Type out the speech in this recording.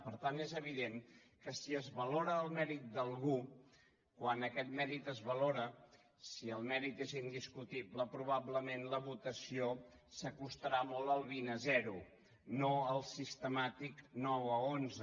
per tant és evident que si es valora el mèrit d’algú quan aquest mèrit es valora si el mèrit és indiscutible probablement la votació s’acostarà molt al vint a zero no al sistemàtic nou a onze